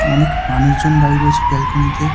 অনেক মানুষজন দাঁড়িয়ে রয়েছে বেলকনি -তে --